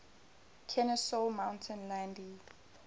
kenesaw mountain landis